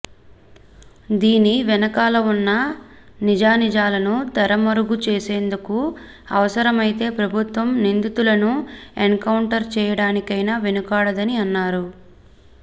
దీని వెనకాల ఉన్న నిజానిజాలను తెరమరుగు చేసేందుకు అవసరమైతే ప్రభుత్వం నిందితులను ఎన్కౌంటర్ చేయడానికైనా వెనుకాడదని అన్నారు